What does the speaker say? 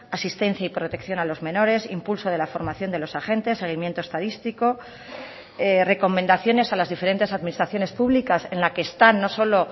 asistencia y protección a los menores impulso de la formación de los agentes seguimiento estadístico recomendaciones a las diferentes administraciones públicas en la que están no solo